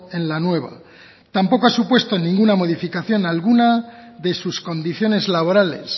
en la nueva tampoco ha supuesto ninguna modificación alguna de sus condiciones laborales